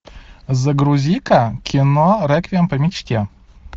загрузи ка кино реквием по мечте